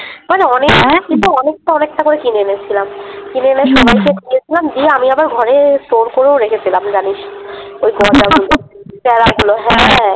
অনেকটা অনেকটা করে কিনে এনেছিলাম কিনে এনে হুম সবাইকে দিয়েছিলাম । দিয়ে আমি আবার ঘরে Store করেও রেখেছিলাম জানিসনা ওই গজা গুলো প্যারা গুলো হ্যাঁ।